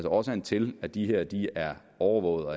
årsagen til at de her er overvågede og